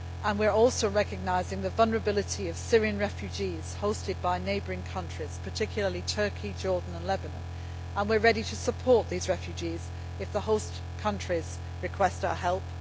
We are also recognising the vulnerability of Syrian refugees hosted by neighbouring countries, particularly Turkey, Jordan and Lebanon, and we are ready to support these refugees if the host countries request our